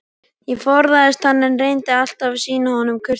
Ég forðaðist hann, en reyndi alltaf að sýna honum kurteisi.